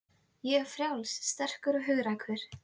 Ég er frjáls, sterkur og hugrakkur.